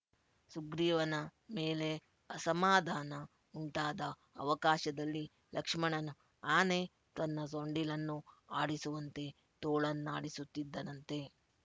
ಸುಗ್ರೀವನ ಮೇಲೆ ಅಸಮಾಧಾನ ಉಂಟಾದ ಅವಕಾಶದಲ್ಲಿ ಲಕ್ಷ್ಮಣನು ಆನೆ ತನ್ನ ಸೊಂಡಿಲನ್ನು ಆಡಿಸುವಂತೆ ತೋಳನ್ನಾಡಿಸುತ್ತಿದ್ದನಂತೆ